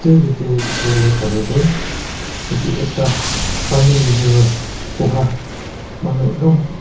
jatte dekhi bole para tu etu ekta pani received koha manu ekdam.